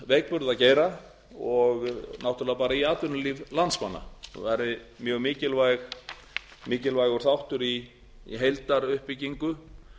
veikburða geira og náttúrlega bara í atvinnulíf landsmanna og væru mjög mikilvægu þáttur í heildaruppbyggingu